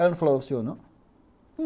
Ela não falou ao senhor não?